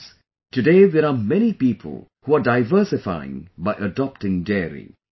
Friends, today there are many people who are diversifying by adopting dairy